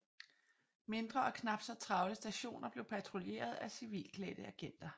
Mindre og knap så travle stationer blev patruljeret af civilklædte agenter